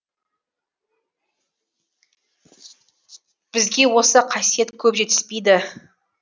бізге осы қасиет көп жетіспейді